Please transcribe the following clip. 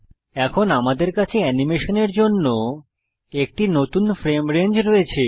এখন আমাদের কাছে অ্যানিমেশনের জন্য একটি নতুন ফ্রেম রেঞ্জ রয়েছে